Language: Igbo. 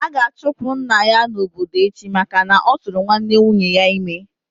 A ga-achụpụ nna ya n'obodo echi maka na-oturu nwanne nwunye ya ime